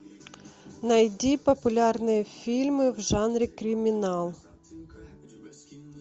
найди популярные фильмы в жанре криминал